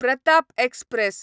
Pratap express